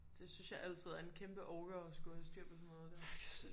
Det synes jeg altid er en kæmpe orker at skulle have styr på sådan noget der